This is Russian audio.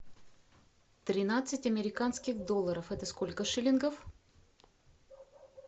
тринадцать американских долларов это сколько шиллингов